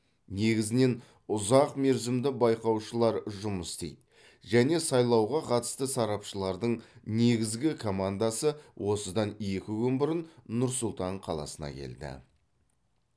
негізінен ұзақ мерзімді байқаушылар жұмыс істейді және сайлауға қатысты сарапшылардың негізгі командасы осыдан екі күн бұрын нұр сұлтан қаласына келді